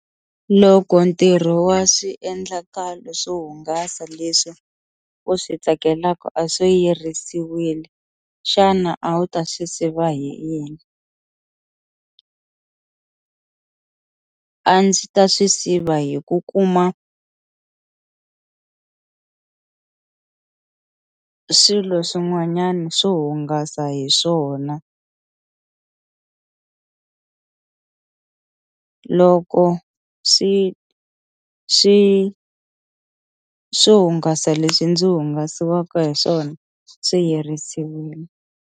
Loko ntirho wa swiendlakalo swo hungasa leswi u swi tsakelaka a swo yerisiwile xana a wu ta swi siva hi yini, a ndzi ta swi siva hi ku kuma swilo swin'wanyana swo hungasa hi swona loko swi swi swo hungasa leswi ndzi hungasiwaka hi swona swivirisiwile.